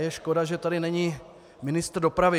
Je škoda, že tady není ministr dopravy.